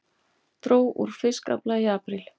Dró úr fiskafla í apríl